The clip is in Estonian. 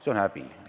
See on häbi!